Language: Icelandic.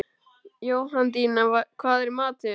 Jóhanndína, hvað er í matinn?